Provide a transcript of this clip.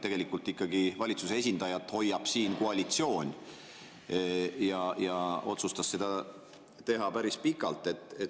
Tegelikult hoiab valitsuse esindajat siin ikkagi koalitsioon ja ta otsustas teha seda päris pikalt.